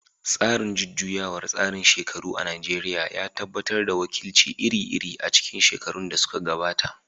Tsarin jujjuyawar tsarin shekaru na Najeriya ya tabbatar da wakilci iri-iri a cikin shekarun da suka gabata.